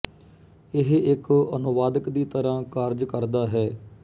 ਇਹ ਇੱਕ ਅਨੁਵਾਦਕ ਦੀ ਤਰ੍ਹਾਂ ਕਾਰਜ ਕਰਦਾ ਹੈ